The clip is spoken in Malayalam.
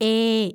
ഏ